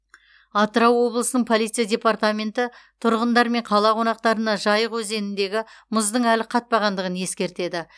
атырау облысының полиция департаменті тұрғындар мен қала қонақтарына жайық өзеніндегі мұздың әлі қатпағандығын ескертеді